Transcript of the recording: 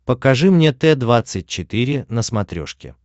покажи мне т двадцать четыре на смотрешке